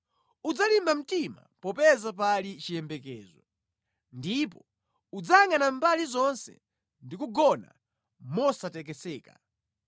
Udzalimba mtima popeza pali chiyembekezo; ndipo udzayangʼana mbali zonse ndi kugona mosatekeseka.